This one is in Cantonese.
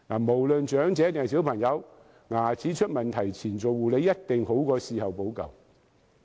無論長者或小朋友，在牙齒出問題前護理，一定比事後補救好。